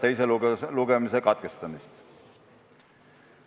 Teine lugemine nimelt katkestati.